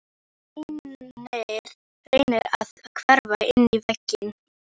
Reynir að hverfa inn í vegginn.